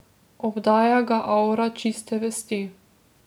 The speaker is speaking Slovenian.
Obdaja ga avra čiste vesti.